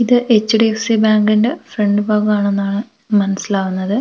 ഇത് H D F C ബാങ്കിന്റെ front ഭാഗം ആണെന്നാണ് മനസ്സിലാവുന്നത് പക്ഷേ --